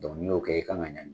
ni y'o kɛ i kan ka ɲangi.